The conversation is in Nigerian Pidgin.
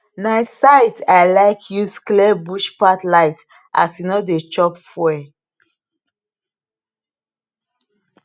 na scythe i like use clear bush pathe light and e no dey chop fuel